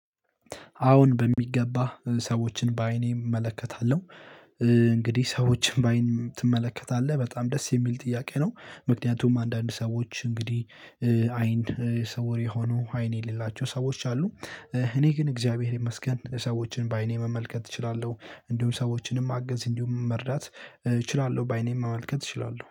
አዎን በሚገባ ሰዎችን በአይኔ እመለከታለሁ። እንግዲህ ሰዎችን በአይን ትመለከታለህ? በጣም ደስ የሚል ጥያቄ ነው። ምክንያቱም አንዳንድ ሰዎች እንግዲህ አይን ስውር የሆኑ አይኔ የሌላቸው ሰዎች አሉ። እኔ ግን እግዚአብሔር ይመስገን ሰዎችን በአይኔ መመልከት እችላለሁ እንዲሁም ሰዎችንም ማገዝ እንዲሁም መርዳት እችላለሁ። በአይኔም ማመልከት እችላለሁ